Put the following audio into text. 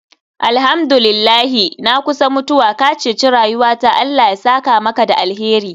Alhamdu lillahi, na kusa mutuwa, ka ceci rayuwata Allah ya saka maka da alheri.